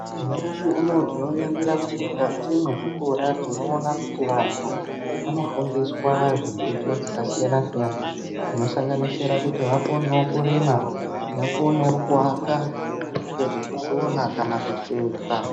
Nyamashi unou tinoningira kuti mukati mwezvikora tinoona kuti vantu vanofundiswa zvidzidzo zvakasiyana siyana .Zvinosanganisisra kuti vakonevo kurima, vakonevo kuaka nekusona kana kusuka.